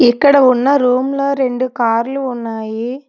ఇక్కడ ఉన్న రూమ్ లో రెండు కార్లు ఉన్నాయి.